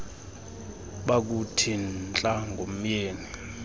bakuthi ntla ngomyeni